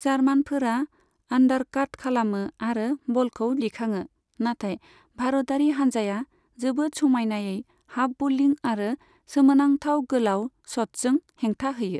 जार्मानफोरा आन्डारकाट खालामो आरो बलखौ दिखाङो, नाथाइ भारतारि हान्जाया जोबोद समायनायै हाफ बलिं आरो सोमोनांथाव गोलाव शट्सजों हेंथा होयो।